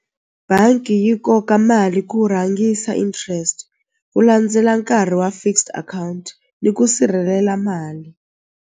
Bangi yi koka mali ku rhangisa interest ku landzela nkarhi wa fixed account ni ku sirhelela mali.